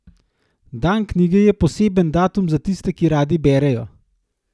Dan knjige je poseben datum za tiste, ki radi berejo.